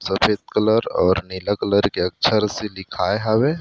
सफ़ेद कलर और नीला कलर के अच्छा रस्सी दिखाय हवे।